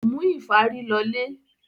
Kò mú ìfárí lọlé.